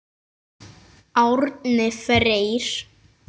Árni Freyr.